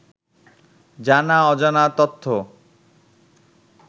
জানা অজানা তথ্য